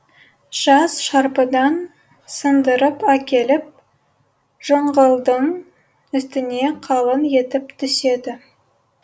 жас шарпыдан сындырып әкеліп жыңғылдың үстіне қалың етіп төседі